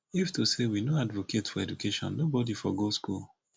if to say we no advocate for education nobody for go school